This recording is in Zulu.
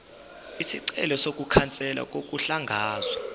isicelo sokukhanselwa kokuhlakazwa